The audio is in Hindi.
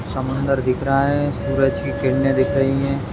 समुंदर दिख रहा है सूरज की किरने दिख रही है।